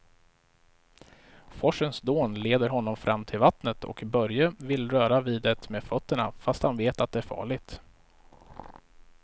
Forsens dån leder honom fram till vattnet och Börje vill röra vid det med fötterna, fast han vet att det är farligt.